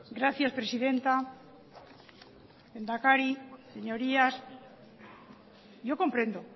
gracias presidenta lehendakari señorías yo comprendo